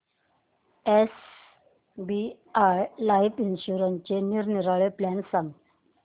SBI life इन्शुरन्सचे निरनिराळे plan सांग